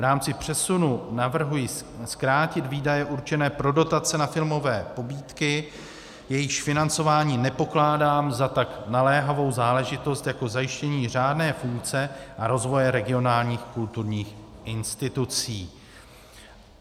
V rámci přesunu navrhuji zkrátit výdaje určené pro dotace na filmové pobídky, jejichž financování nepokládám za tak naléhavou záležitost jako zajištění řádné funkce a rozvoje regionálních kulturních institucí.